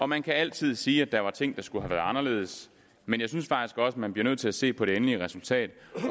man altid sige at der var ting der skulle have været anderledes men jeg synes faktisk også man bliver nødt til at se på det endelige resultat